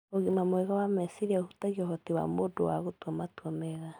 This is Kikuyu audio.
Ũgima mwega wa meciria ũhutagia ũhoti wa mũndũ wa gũtua matua mega